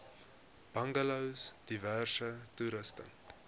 bungalows diverse toerusting